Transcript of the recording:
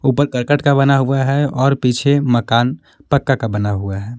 ऊपर करकट का बना हुआ है और पीछे मकान पक्का का बना हुआ है।